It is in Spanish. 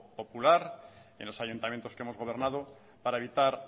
popular en los ayuntamientos que hemos gobernado para evitar